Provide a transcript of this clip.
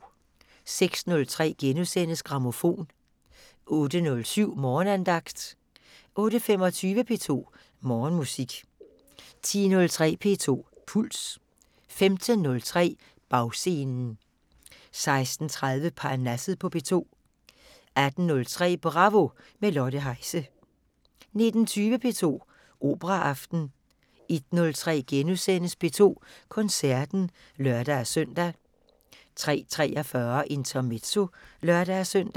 06:03: Grammofon * 08:07: Morgenandagten 08:25: P2 Morgenmusik 10:03: P2 Puls 15:03: Bagscenen 16:30: Parnasset på P2 18:03: Bravo – med Lotte Heise 19:20: P2 Operaaften 01:03: P2 Koncerten *(lør-søn) 03:43: Intermezzo (lør-søn)